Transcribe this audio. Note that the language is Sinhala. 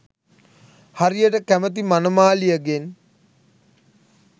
හරියට කැමති මනමාලියෙගෙන්